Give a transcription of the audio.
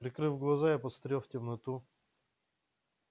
прикрыв глаза я посмотрел в темноту